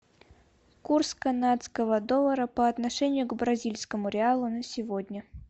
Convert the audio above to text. курс канадского доллара по отношению к бразильскому реалу на сегодня